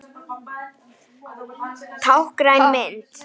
Táknræn mynd.